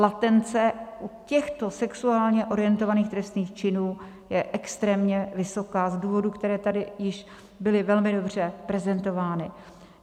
Latence u těchto sexuálně orientovaných trestných činů je extrémně vysoká z důvodů, které tady již byly velmi dobře prezentovány.